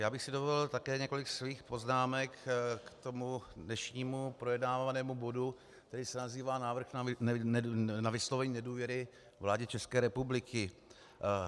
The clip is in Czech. Já bych si dovolil také několik svých poznámek k tomu dnešnímu projednávanému bodu, který se nazývá Návrh na vyslovení nedůvěry vládě České republiky.